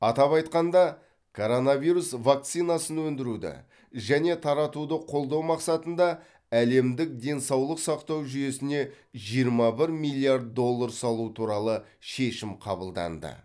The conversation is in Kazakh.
атап айтқанда коронавирус вакцинасын өндіруді және таратуды қолдау мақсатында әлемдік денсаулық сақтау жүйесіне жиырма бір миллиард доллар салу туралы шешім қабылданды